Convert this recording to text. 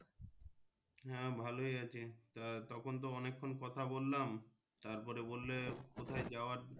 হ্যাঁ ভালোই আছি তা তখন তো অনেকক্ষন কথা বললাম তার পরে বললে কোথায় যাওয়ার।